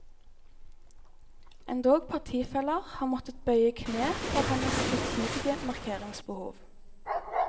Endog partifeller har måttet bøye kne for hennes utidige markeringsbehov.